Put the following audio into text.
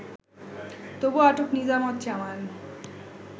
তবে আটক নিজামত জানান